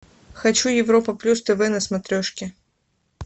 хочу европа плюс тв на смотрешке